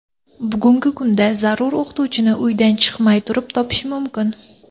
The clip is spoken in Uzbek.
Bugungi kunda zarur o‘qituvchini uydan chiqmay turib topish mumkin.